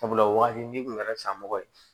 Sabula wagati n'i kun kɛra san mɔgɔ ye